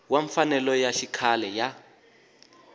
wa mfanelo ya xikhale ya